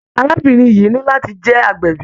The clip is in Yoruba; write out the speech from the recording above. Arábìnrin yìí ní láti jẹ́ agbẹ̀bí.